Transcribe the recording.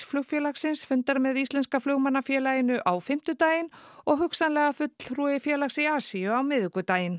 flugfélagsins fundar með Íslenska flugmannafélaginu á fimmtudaginn og hugsanlega fulltrúi félags í Asíu á miðvikudaginn